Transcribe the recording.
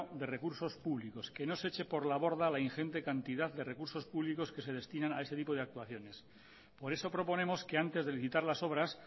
de recursos públicos que no se eche por la borda la ingente cantidad de recursos públicos que se destinan a este tipo de actuaciones por eso proponemos que antes de licitar las obras